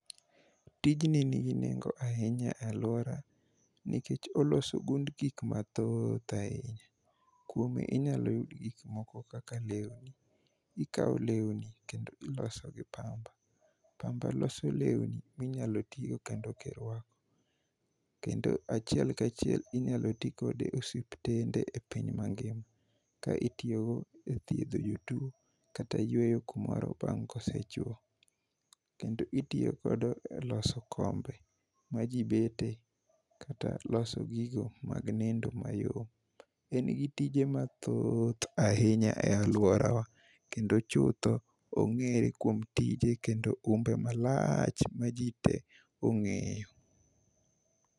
Tijni nigi nengo ahinya e alwora nikech oloso ogund gik mathoth ahinya. Kuome inyalo yud gikmoko kaka lewni ikawo lewni kendo iloso gi pamba. Pamba loso lewni minyalo tigo kendo kirwako. Kendo achiel kachiel inyalo ti kode e osiptende e piny mangima, ka itiyogo e thiedho jotuo kata yueyo kumoro bang' kosechwo. Kendo itiyo kodo e loso kombe ma ji bete, kata loso gigo mag nindo mayom. En gi tije mathoth ahinya e alworawa kendo chutho ong'ere kuom tije kendo umbe malach ma ji te ong'eyo.